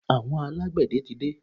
Àwọn alágbẹ̀dẹ tí dé.